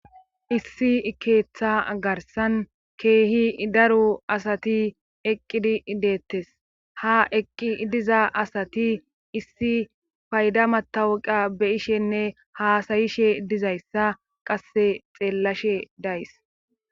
Issi ikeeththa garsan keehi daru asati eqqidi ideettes ha eqqi diza asati issi payda matawuqa beyishenne haasayishe dizayssa qasse xeellashe days.